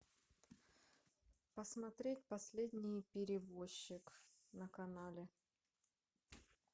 посмотреть последний перевозчик на канале